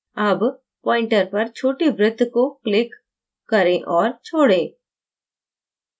अब pointer पर छोटे वृत्त को click करें और छोड़ें